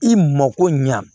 I mako ɲa